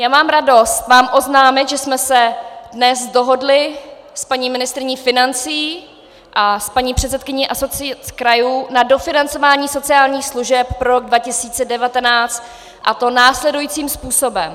Já mám radost vám oznámit, že jsme se dnes dohodly s paní ministryní financí a s paní předsedkyní Asociace krajů na dofinancování sociálních služeb pro rok 2019, a to následujícím způsobem.